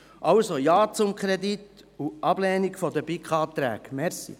Also: Ja zum Kredit und Ablehnung der BiK-Anträge.